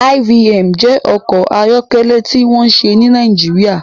IVM jẹ́ ọkọ̀ ayọ́kẹ́lẹ́ tí wọ́n ṣe ní Nàìjíríà